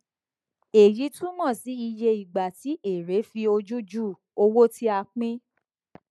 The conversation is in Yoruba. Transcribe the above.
èyí túmọ sí iye ìgbà tí èèrè fi ojú ju owó tí a pín